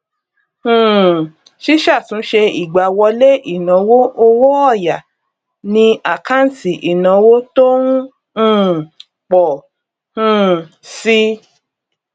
um síṣàtúnṣe ìgbáwọlé ìnáwó owó òya ni àkáǹtì ìnáwó tó ń um pọ um si